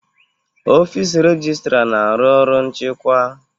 Ọfịs rejịstra na-arụ ọrụ nchịkwa.